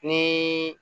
Ni